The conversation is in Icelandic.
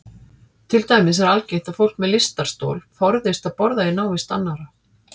Til dæmis er algengt að fólk með lystarstol forðist að borða í návist annarra.